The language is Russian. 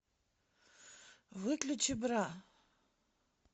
выключи бра